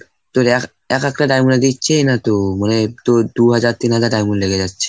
তোর এক একটা diamond এ দিচ্ছেই না তো. মানে তোর দু হাজার তিন হাজার diamond লেগে যাচ্ছে।